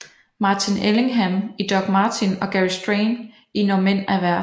Martin Ellingham i Doc Martin og Gary Strang i Når mænd er værst